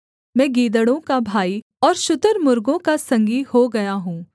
मैं गीदड़ों का भाई और शुतुर्मुर्गों का संगी हो गया हूँ